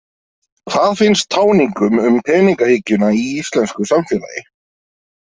Hvað finnst táningum um peningahyggjuna í íslensku samfélagi?